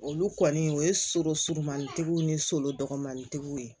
Olu kɔni o ye so surumanitigiw ni so dɔgɔmanitigiw ye